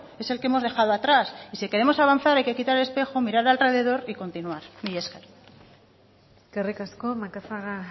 es el que hemos dejado atrás y si queremos avanzar hay que quitar el espejo mirar alrededor y continuar mila esker eskerrik asko macazaga